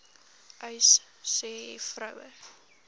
uys sê vroue